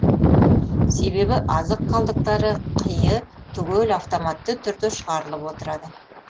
себебі азық қалдықтары қиы түгел автоматты түрде шығарылып отырады